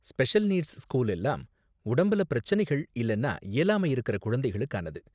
Special needs school எல்லாம் உடம்புல பிரச்சனைகள் இல்லனா இயலாமை இருக்குற குழந்தைகளுக்கானது.